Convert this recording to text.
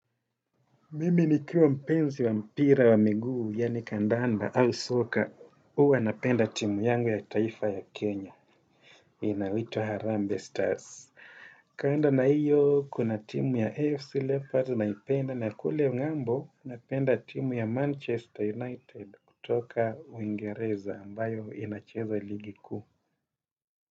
Mimi nikiwa mpenzi wa mpira wa miguu, yani kandanda au soka. Huwa napenda timu yangu ya taifa ya Kenya. Inayoitwa Harambe Stars. Kando na hiyo, kuna timu ya AFC Leopards naipenda na kule ng'ambo, napenda timu ya Manchester United kutoka uingereza ambayo inacheza ligi kuu.